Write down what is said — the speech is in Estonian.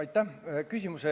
Aitäh küsimuse eest!